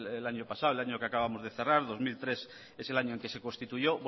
el año pasado el año que acabamos de cerrar dos mil tres es el año en el que se constituyó